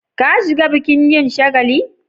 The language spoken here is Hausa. Ka shiga bukin yin shagali?